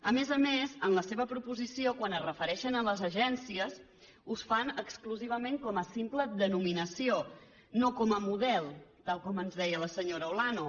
a més a més en la seva proposició quan es refereixen a les agències ho fan exclusivament com a simple denominació no com a model tal com ens deia la senyora olano